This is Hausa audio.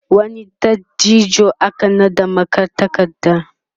wani dattijo aka naɗa magatakarda